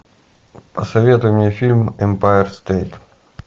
посоветуй мне фильм эмпайр стэйт